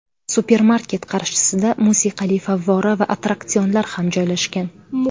Supermarket qarshisida musiqali favvora va attraksionlar ham joylashgan.